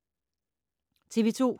TV 2